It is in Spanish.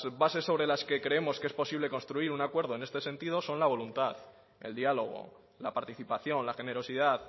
bases sobre las que creemos que es posible construir un acuerdo en este sentido son la voluntad el diálogo la participación la generosidad